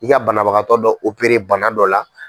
I ka banabagatɔ dɔ opere bana dɔ la.